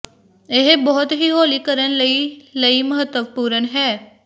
ਇਹ ਬਹੁਤ ਹੀ ਹੌਲੀ ਕਰਨ ਲਈ ਲਈ ਮਹੱਤਵਪੂਰਨ ਹੈ